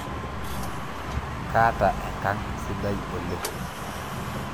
Kaata enkang' sidai oleng'